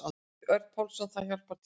Örn Pálsson: Þetta hjálpar til.